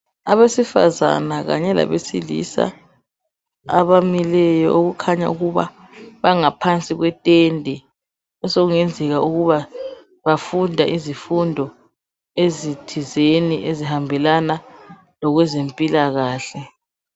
Abesifazana kanye labesilisa abamileyo okukhanya ukuba bangaphansi kwetende esokungenzeka ukuba bafunda izifundo ezithizeni ezihambelana lokwezempilakahle.